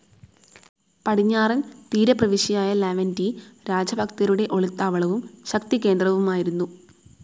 പടിഞ്ഞാറൻ തീരപ്രവിശ്യയായ ലാവെൻഡി രാജഭക്തരുടെ ഒളിത്താവളവും ശക്തികേന്ദ്രവുമായിരുന്നു.